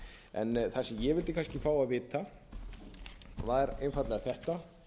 það sem ég vildi fá að vita er einfaldlega þetta